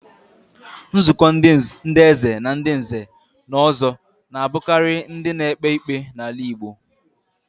Nzuko ndi Eze Na ndi nze na ozo na-abukari ndi na-ekpe ikpe n'ala Igbo.